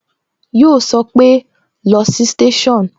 Yo sọpe "lọ sí station"